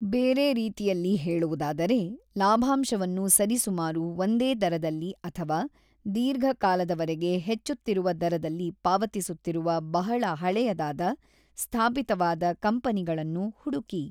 ಬೇರೆ ರೀತಿಯಲ್ಲಿ ಹೇಳುವುದಾದರೆ, ಲಾಭಾಂಶವನ್ನು ಸರಿಸುಮಾರು ಒಂದೇ ದರದಲ್ಲಿ ಅಥವಾ ದೀರ್ಘಕಾಲದವರೆಗೆ ಹೆಚ್ಚುತ್ತಿರುವ ದರದಲ್ಲಿ ಪಾವತಿಸುತ್ತಿರುವ ಬಹಳ ಹಳೆಯದಾದ, ಸ್ಥಾಪಿತವಾದ ಕಂಪನಿಗಳನ್ನು ಹುಡುಕಿ.